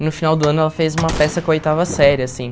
E no final do ano ela fez uma peça com a oitava série, assim.